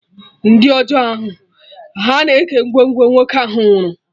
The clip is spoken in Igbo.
Ndị ọjọọ ahụ, ha na-eke ngwongwo nwoke ahụ nwụrụ